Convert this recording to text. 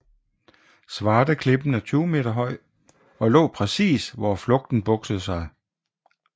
Zvārteklippen er 20 meter høj og lå præcis hvor floden bugtede sig